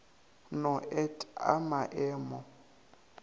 no et a ma emo